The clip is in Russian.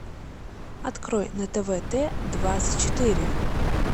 открой на тв т двадцать четыре